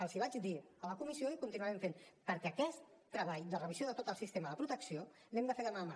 els ho vaig dir a la comissió i ho continuarem fent perquè aquest treball de revisió de tot el sistema de protecció l’hem de fer mà amb mà